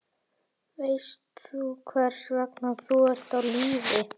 Veist þú hvers vegna þú ert á lífi?